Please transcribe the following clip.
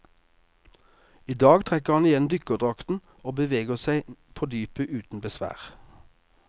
I dag trekker han igjen i dykkerdrakten og beveger seg på dypet uten besvær.